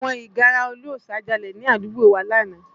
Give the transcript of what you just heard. Àwọn ìgárá ọlọ́ṣà jalè ní àdúgbò wa lánàá